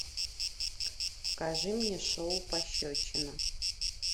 покажи мне шоу пощечина